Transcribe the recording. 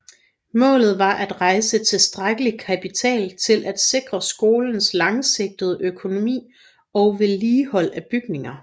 Målet var at rejse tilstrækkelig kapital til at sikre skolens langsigtede økonomi og vedligehold af bygninger